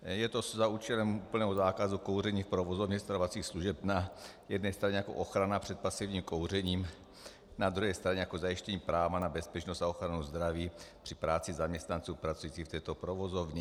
Je to za účelem úplného zákazu kouření v provozovně stravovacích služeb na jedné straně jako ochrana před pasivním kouřením, na druhé straně jako zajištění práva na bezpečnost a ochranu zdraví při práci zaměstnanců pracujících v této provozovně.